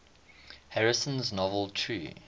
harrison's novel true